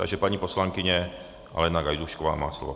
Takže paní poslankyně Alena Gajdůšková má slovo.